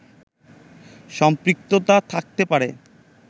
সম্পৃক্ততা থাকতে পারে